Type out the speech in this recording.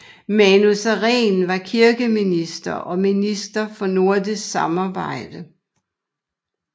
Manu Sareen var kirkeminister og minister for nordisk samarbejde